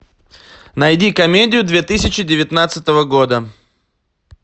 найди комедию две тысячи девятнадцатого года